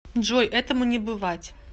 джой этому не бывать